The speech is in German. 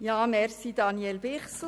Danke, Daniel Bichsel.